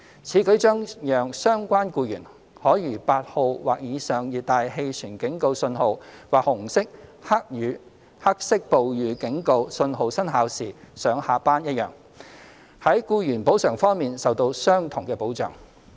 此舉將讓相關僱員可如8號或以上熱帶氣旋警告訊號或紅色/黑色暴雨警告訊號生效時上下班一樣，在僱員補償方面受到相同的保障。